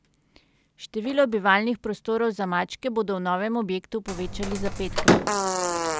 Število bivalnih prostorov za mačke bodo v novem objektu povečali za petkrat.